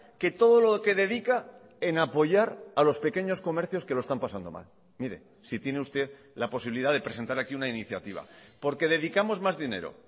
que todo lo que dedica en apoyar a los pequeños comercios que lo están pasando mal mire si tiene usted la posibilidad de presentar aquí una iniciativa porque dedicamos más dinero